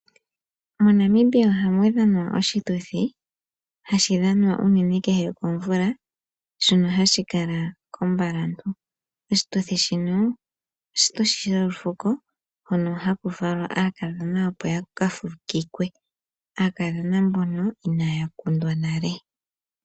MoNamibia ohamu dhanwa oshituthi hashi dhanwa uunene kehe komvula, shono hashi kala kOmbalantu. Oshituthi shino oshituthi sholufuko hono haku falwa aakadhona opo yakafukikwe, aakadhona mbono inaya kundwa nale.